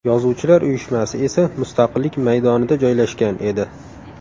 Yozuvchilar uyushmasi esa Mustaqillik maydonida joylashgan edi.